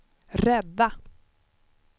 rädda